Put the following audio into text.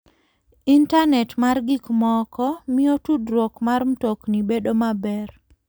Intanet mar gik moko miyo tudruok mar mtokni bedo maber.